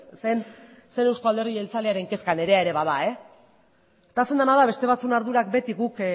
ez euzko alderdi jeltzalearen kezka nirea ere bada gertatzen dena da beste batzuen ardurak beti guk